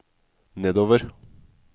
nedover